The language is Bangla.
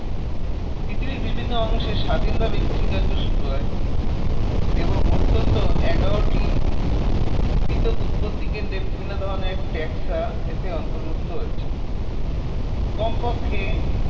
পৃথিবীর বিভিন্ন অংশে স্বাধীনভাবে কৃষিকার্য শুরু হয় এবং অত্যন্ত এগারটি পৃথক উৎপত্তি কেন্দ্রে বিভিন্ন ধরণের ট্যাক্সা এতে অন্তর্ভুক্ত রয়েছে কমপক্ষে